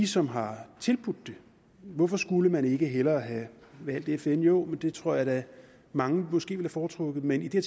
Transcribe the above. som har tilbudt det hvorfor skulle man ikke hellere have valgt fn jo men det tror jeg da mange måske ville have foretrukket men i det